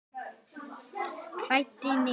Kælt niður.